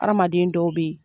Hadamaden dɔw bɛ ye